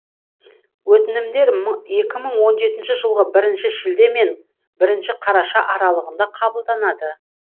өтінімдер екі мың он жетінші жылғы бірінші шілде мен бірінші қараша аралығында қабылданады